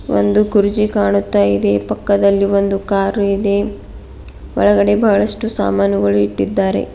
ಒಂದು ಕುರ್ಚಿ ಕಾಣುತ್ತಾ ಇದೆ ಪಕ್ಕದಲ್ಲಿ ಒಂದು ಕಾರು ಇದೆ ಒಳಗಡೆ ಬಹಳಷ್ಟು ಸಾಮಾನುಗಳನ್ನು ಇಟ್ಟಿದ್ದಾರೆ.